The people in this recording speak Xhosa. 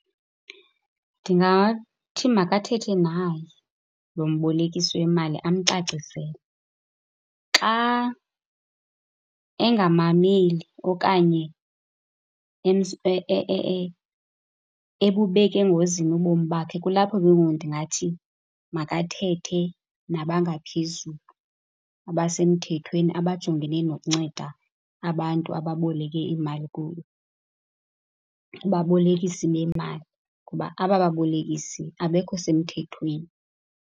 Ndingathi makathethe naye, lo mbolekisi wemali, amcacisele. Xa engamameli okanye ebubeka engozini ubomi bakhe, kulapho ke ngoku ndingathi makathethe nabangaphezulu, abasemthethweni. Abajongene nokunceda abantu ababoleke imali kubabolekisi bemali ngoba aba babolekisi abekho semthethweni.